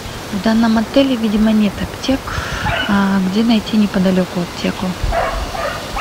в данном отеле видимо нет аптек где найти неподалеку аптеку